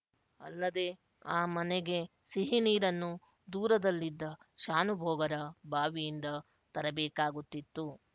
ಅಲ್ಲದೆ ಆ ಮನೆಗೆ ಸಿಹಿನೀರನ್ನು ದೂರದಲ್ಲಿದ್ದ ಶಾನುಭೋಗರ ಬಾವಿಯಿಂದ ತರಬೇಕಾಗುತ್ತಿತ್ತು